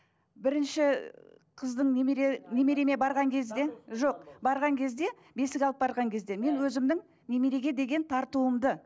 бірінші қыздың немере немереме барған кезде жоқ барған кезде бесік алып барған кезде мен өзімнің немереге деген тартуымды